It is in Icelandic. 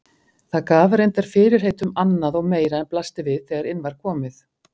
Það gaf reyndar fyrirheit um annað og meira en blasti við þegar inn var komið.